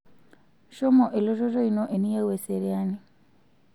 shomo elototo ino eniyieu eseriani